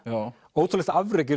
ótrúlegt afrek